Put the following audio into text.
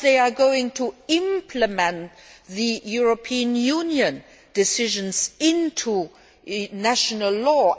how they are going to implement European Union decisions in their national law